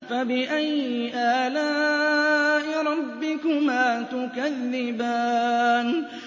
فَبِأَيِّ آلَاءِ رَبِّكُمَا تُكَذِّبَانِ